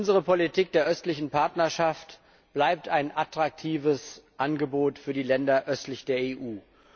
Unsere Politik der östlichen Partnerschaft bleibt ein attraktives Angebot für die Länder östlich der EU.